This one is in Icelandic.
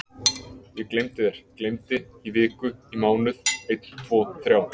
Ég gleymdi þér, gleymdi, í viku, í mánuð, einn tvo þrjá.